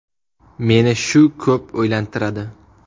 Meni shu ko‘p o‘ylantiradi.